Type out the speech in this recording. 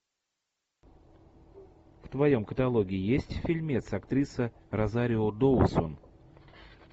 в твоем каталоге есть фильмец актриса розарио доусон